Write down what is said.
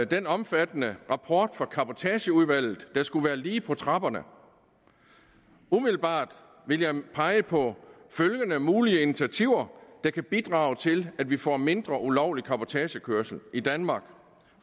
den omfattende rapport fra cabotageudvalget der skulle være lige på trapperne umiddelbart vil jeg pege på følgende mulige initiativer der kan bidrage til at vi får mindre ulovlig cabotagekørsel i danmark